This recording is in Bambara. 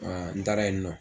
Aa n taara yen nɔ.